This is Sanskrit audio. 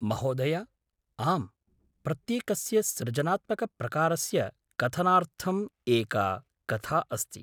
महोदय, आम्। प्रत्येकस्य सृजनात्मकप्रकारस्य कथनार्थम् एका कथा अस्ति।